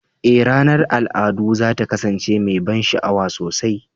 Ee, ranar al'adu za ta kasance mai ban sha'awa sosai.